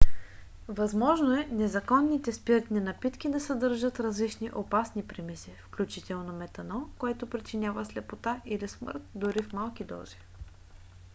възможно е незаконните спиртни напитки да съдържат различни опасни примеси включително метанол който причинява слепота или смърт дори в малки дози